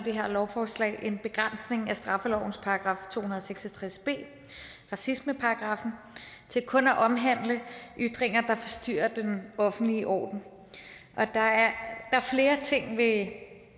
det her lovforslag en begrænsning af straffelovens § to hundrede og seks og tres b racismeparagraffen til kun at omhandle ytringer der forstyrrer den offentlige orden der er flere ting ved